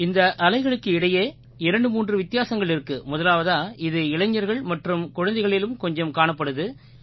இந்த அலைகளுக்கு இடையே 23 வித்தியாசங்கள் இருக்கு முதலாவதா இது இளைஞர்கள் மற்றும் குழந்தைகளிலும் கொஞ்சம் காணப்படுது